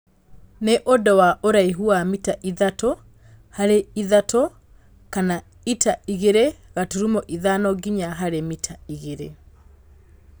Nĩ ũndũ wa ũraihu wa mita ithatũ harĩ ithatũ kana ita ĩgĩrĩ gaturumo ithano nginya harĩ mita igĩrĩ